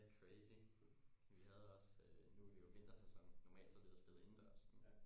Det crazy vi havde også øh nu er det jo vintersæson normalt så havde vi jo spillet indendørs